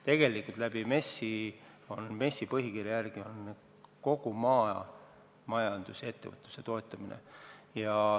Tegelikult on MES-i ülesanne põhikirja järgi kogu maamajandusettevõtluse toetamine.